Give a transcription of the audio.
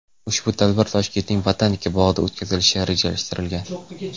Ushbu tadbir Toshkentning botanika bog‘ida o‘tkazilishi rejalashtirilgan.